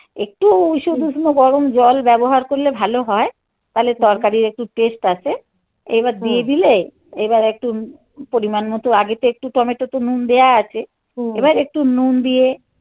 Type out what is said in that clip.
একটু ঈশদূষ্ণ গরম জল ব্যবহার করলে ভালো হয়. তালে তরকারির একটু taste আসে. এবার দিয়ে দিলে এবার একটু পরিমান মতো. আগে তো একটু টমেটো তো নুন দেওয়া আছে. এবার একটু নুন দিয়ে